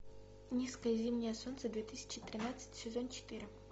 низкое зимнее солнце две тысячи тринадцать сезон четыре